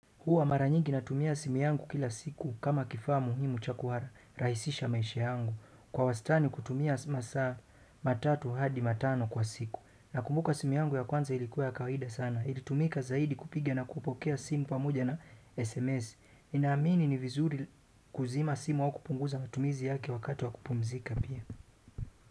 Huwa mara nyigi natumia simu yangu kila siku kama kifaa muhimu cha kurahisisha maisha yangu, kwa wastani kutumia masaa matatu hadi matano kwa siku. Nakumbuka simu yangu ya kwanza ilikuwa ya kawida sana, ilitumika zaidi kupigia na kupokea simu pamoja na SMS. Ninaamini ni vizuri kuzima simu au kupunguza matumizi yake wakati wa kupumzika pia.